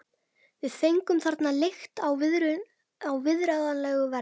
Við fengum þarna leigt á viðráðanlegu verði.